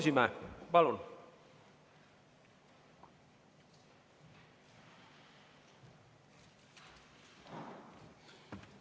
Tarmo Kruusimäe, palun!